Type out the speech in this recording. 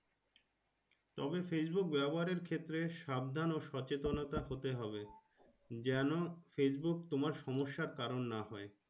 তবে Facebook ব্যাবহারের ক্ষেত্রে সাবধান ও সচেতনতা হতে হবে যেন Facebook তোমার সমস্যার কারণ না হয়।